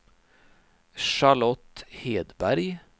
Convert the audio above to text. Charlotte Hedberg